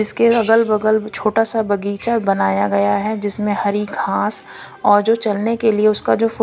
इसके अगल बगल छोटा सा बगीचा बनाया गया है जिसमें हरी घास और जो चलने के लिए उसका जो फो--